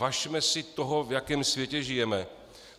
Važme si toho, v jakém světě žijeme.